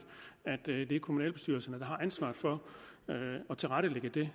at det er kommunalbestyrelserne der har ansvaret for at tilrettelægge det